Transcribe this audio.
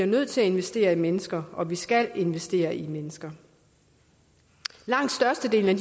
nødt til at investere i mennesker og vi skal investere i mennesker lang størstedelen